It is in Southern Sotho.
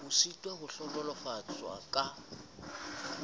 ho sitswa ho hlohonolofatswa ka